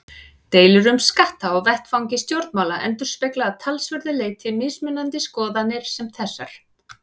Deilur um skatta á vettvangi stjórnmála endurspegla að talsverðu leyti mismunandi skoðanir sem þessar.